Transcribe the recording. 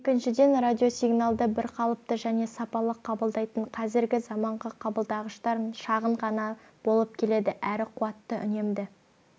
екіншіден радиосигналды бірқалыпты және сапалы қабылдайтын қазіргі заманғы қабылдағыштар шағын ғана болып келеді әрі қуатты үнемді